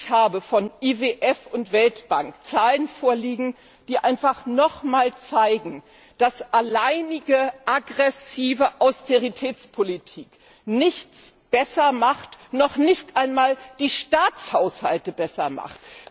Ich habe vom IWF und der Weltbank Zahlen vorliegen, die einfach noch mal zeigen, dass alleinige, aggressive Austeritätspolitik nichts besser macht, noch nicht einmal die Staatshaushalte besser macht.